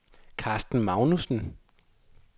Carsten Magnussen